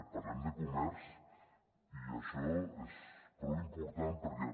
parlem de comerç i això és prou important perquè